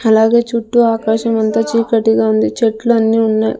అలాగే చుట్టూ ఆకాశమంత చీకటిగా ఉంది చెట్లన్నీ ఉన్నాయ్.